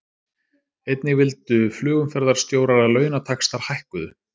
Einnig vildu flugumferðarstjórar að launataxtar hækkuðu